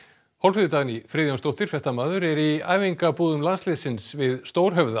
Hólmfríður Dagný Friðjónsdóttir fréttamaður er í æfingabúðum landsliðsins við Stórhöfða